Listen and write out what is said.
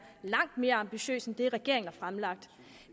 langt mere ambitiøs end den regeringen har fremlagt